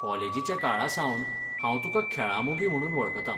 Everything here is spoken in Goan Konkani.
कॉलेजीच्या काळा सावन हांव तुकां खेळां मोगी म्हणून वळखतां.